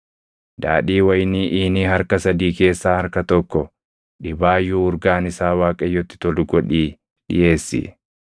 Daadhii wayinii iinii harka sadii keessaa harka tokko dhibaayyuu urgaan isaa Waaqayyotti tolu godhii dhiʼeessi.